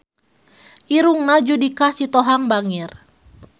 Irungna Judika Sitohang bangir